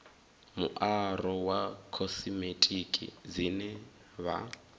muaro wa khosimetiki dzine vha